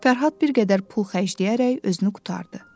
Fərhad bir qədər pul xərcləyərək özünü qurtardı.